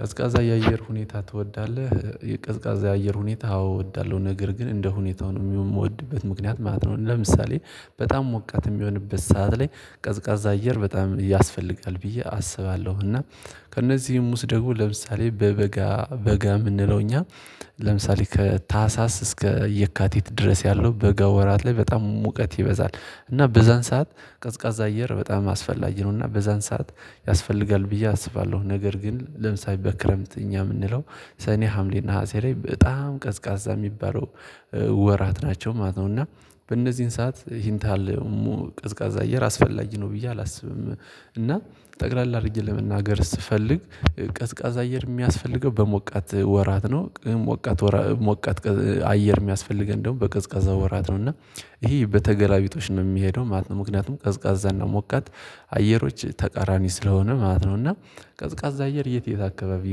ቀዝቃዛ የአየር ሁኔታ ትወዳለህ? የቀዝቃዛ የአየር ሁኔታ አዎ እወዳለሁ ነገር ግን እንደ ሁኔታው ነው የምወድበት ምክንያት ማለት ነው። ለምሳሌ በጣም ሞቃት የሚሆንበት ሰዓት ላይ ቀዝቃዛ አየር በጣም ያስፈልጋል ብዬ አስባለሁ። እና ከእነዚህም ውስጥ ደግሞ ለምሳሌ በበጋ በጋ የምንለው እኛ ለምሳሌ ከታህሳስ እስከ የካቲት ድረስ ያለው በጋ ወራት ላይ በጣም ሙቀት ይበዛል እና በዛን ሰዓት ቀዝቃዛ አየር በጣም አስፈላጊ ነውና በዛን ሰዓት ያስፈልጋል ብዬ አስባለሁ። ነገር ግን ለምሳሌ በክረምት እኛ የምንለው ሰኔ ሀምሌ ነሀሴ ላይ በጣም ቀዝቃዛ የሚባለው ወራት ናቸው ማለት ነው። እና በእነዚህን ሰዓት ይህን ታህል ቀዝቃዛ አየር አስፈላጊ ነው ብዬ አላስብም። እና ጠቅለል አድርጌ ለመናገር ስትፈልግ ቀዝቃዛ አየር የሚያስፈልገው በሞቃት ወራት ነው ሞቃት ሞቃት አየር የሚያስፈልገን ደግሞ በቀዝቃዛ ወራት ነው። እና ይሄ በተገላቢጦሽ ነው የሚሄደው ማለት ነው። ምክንያቱም ቀዝቃዛ እና ሞቃት አየሮች ተቃራኒ ስለሆነ ማለት ነው። እና ቀዝቃዛ አየር የት የት አካባቢ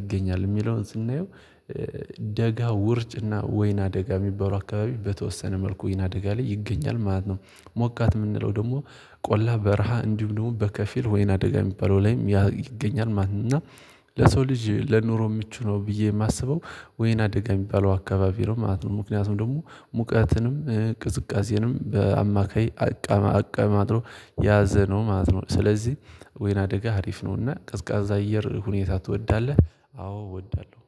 ይገኛል የሚለውን ስናየው ደጋ ውርጭና ወይና ደጋ የሚባሉ አካባቢ በተወሰነ መልኩ ወይና ደጋ ላይ ይገኛል ማለት ነው። ሞቃት የምንለው ደግሞ ቆላ በረሃ እንዲህ ደግሞ በከፊል ወይን አደጋ የሚባለው ላይም ይገኛል ማለት ነው። እና ለሰው ልጅ ለኑሮ ምቹ ነው ብዬ የማስበው ወይና አደጋ የሚባለው አካባቢ ነው ማለት ነው። ምክንያቱም ደግሞ ሙቀትንም ቅዝቃዜንም በአማካይ አቀማድሮ ያዘነው ማለት ነው። ስለዚህ ወይና አደጋ ሀሪፍ ነውና ቀዝቃዛ አየር ሁኔታ ትወዳለህ? አዎ እወዳለሁ